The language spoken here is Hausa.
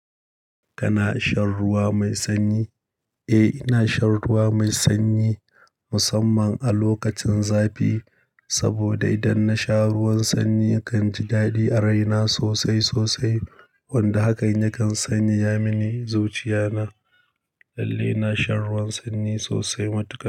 Kana shan ruwa mai sanyi? Eh, ina shan ruwa mai sanyi musamman a lokacin zafi. Saboda idan nasha ruwan sanyi na kan ji daɗi a raina sosai sosai. Wanda hakan yakan sanya mini zuciya na. Lalle ina shan ruwan sanyi sosai matuka.